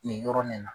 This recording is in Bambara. Nin yɔrɔ nin na